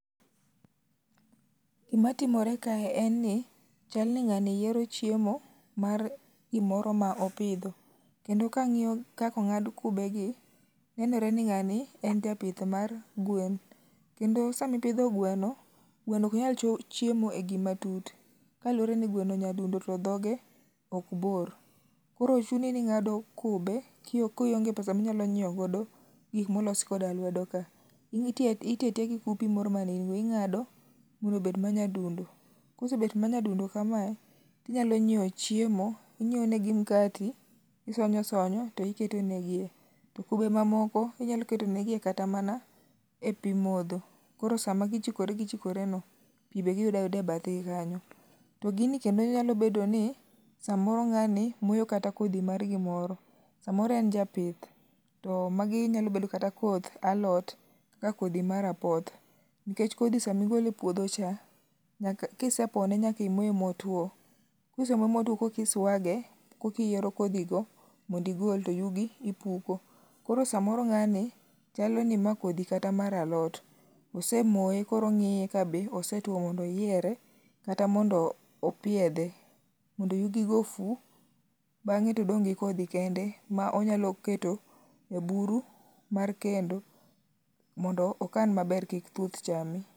Gimatimore kae, en ni chal ni ng'ani yiero chiemo mar gimoro ma opidho. Kendo ka ang'iyo kaka ong'ad kubegi, nenore ni ng'ani en japith mar gwen. Kendo sama ipidho gweno, gweno ok nyal chiemo e gima tut kaluwore ni gweno nyadundo to dhoge ok bor. Koro chuni ni ing'ado kube kionge pesa minyalo nyiewo godo gik molos koda lwedo ka. Itiyo atiya gi kupi moro ma ing'ado mondo obed manyadundo kosebet ma nyadundo kamae, inyalo nyiewo chiemo, inyiewo negi mkati, isonyo isonyo to iketo negie, to kube mamoko inyalo ketonigie kata mana pi modho. Koro sama gichikore gichikoreno, pi be giyudo ayuda ebathe kanyo. To gini kendo nyalo bedo ni samoro ng'ani moyo kata kodhi mar gimoro. Samoro en japith to magi nyalo bedo kata koth aloth kaka kodhi mar apoth nikech kodhi sama igolo e puodho cha kisepone nyaka imoye motwo. Ka isemoye motwo koka iswage kokiyieromkodhi go mondo igol to yugi ipuko. Koro samoro ng'ani chalo ni mae kodhi kata mar alot, osemoye koro ong'iye kabe osetuo mkoro ong'iye mondo oyiere kata mondo opiedhe mondo yugi go ofu bang'e to odong' gi kodhi kende ma bang'e to onyalo keto e buru mar kendo mondo okan maber kik thuth chame.